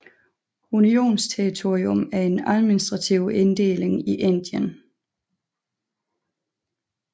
Unionsterritorium er en administrativ inddeling i Indien